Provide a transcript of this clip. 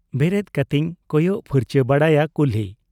ᱵᱮᱨᱮᱫ ᱠᱟᱛᱮᱧ ᱠᱚᱭᱚᱜ ᱯᱦᱟᱨᱪᱟ ᱵᱟᱲᱟᱭᱟ ᱠᱩᱞᱦᱤ ᱾